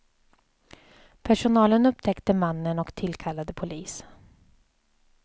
Personalen upptäckte mannen och tillkallade polis.